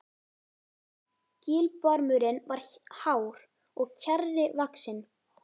Gilbarmurinn var hár og kjarri vaxinn.